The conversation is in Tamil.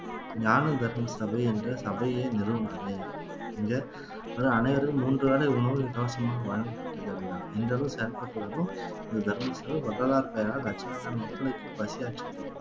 ஞான தர்ம சபை என்ற சபையை நிறுவினாரு இங்க அதான் அனைவரும் மூன்று வேலை உணவு இலவசமாக வழங்கப்பட்டது அப்படின்னா இந்த அளவு செயல்பட்டு வரும் இந்த தர்ம சாதம் வள்ளலார் பெயரால் லட்சகணக்கான மக்களுக்கு பசியாற்றி